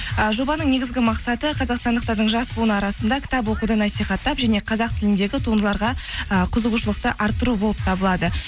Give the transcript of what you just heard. і жобаның негізгі мақсаты қазақстандықтардың жас буын арасында кітап оқуды насихаттап және қазақ тіліндегі туындыларға і қызығушылықты арттыру болып табылады